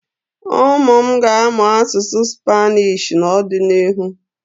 Ụmụ m ga-amụ asụsụ Spnishị n'ọdịnihu.